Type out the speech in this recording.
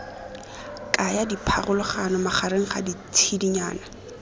kaya dipharologano magareng ga ditshedinyana